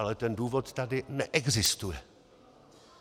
Ale ten důvod tady neexistuje.